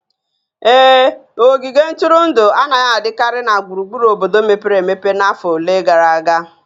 Ee, ogige ntụrụndụ anaghị adịkarị na gburugburu obodo mepere emepe n'afọ ole gara aga